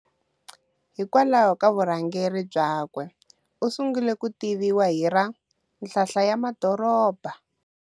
Hikwalaho ku vurhangeri byakwe usungule kutiviwa hi ra "Nhlalala ya madoroba".